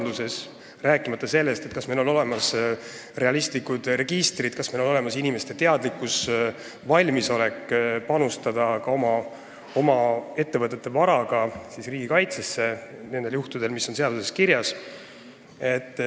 Ma ei räägi sellest, kas meil on olemas realistlikud registrid ning kas meie inimesed on teadlikud ja valmis ka oma ettevõtte varaga panustama riigikaitsesse nendel juhtudel, mis on seaduses kirjas.